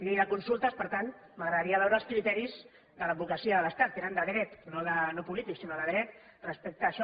llei de consultes per tant m’agradaria veure els criteris de l’advocacia de l’estat que eren de dret no polítics sinó de dret respecte a això